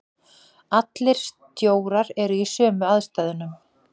Allir stjórar eru í sömu aðstæðunum.